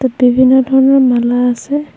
ইয়াত বিভিন্ন ধৰণৰ মালা আছে।